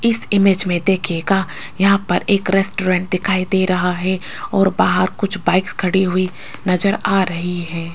इस इमेज में देखिएगा यहां पर एक रेस्टोरेंट दिखाई दे रहा है और बाहर कुछ बाइकस खड़ी हुई नजर आ रही है।